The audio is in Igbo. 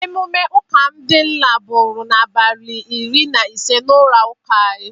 Emume ụka ndị nna bụrụ n'abalị iri na ise n'ụlọ ụka anyị.